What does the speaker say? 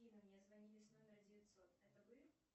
мне звонили с номера девятьсот это вы